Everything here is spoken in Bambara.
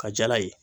Ka jala ye